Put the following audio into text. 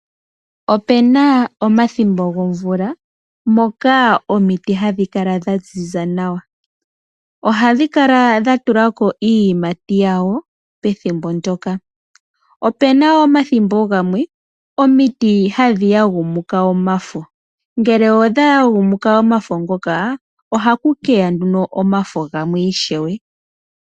Opena omathimbo gomvula moka omiti hadhi kala dha ziza nawa. Ohadhi kala dha tulako iiyimati yawo pethimbo ndyoka. Opena wo omathimbo gamwe omiti hadhi yagumuka omafo. Ngele odha yagumuka omafo ngoka, ohaku keya nduno omafo gamwe ishewe.